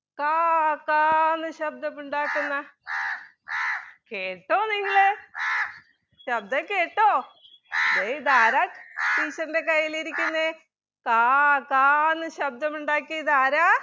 കാ കാ എന്ന് ശബ്‌ദമുണ്ടാക്കുന്ന കേട്ടോ നിങ്ങൾ ശബ്‌ദം കേട്ടോ ദേ ഇതാരാ teacher ൻ്റെ കയ്യിൽ ഇരിക്കുന്നത് കാ കാ എന്ന് ശബ്ദമുണ്ടാക്കിയത് ആരാ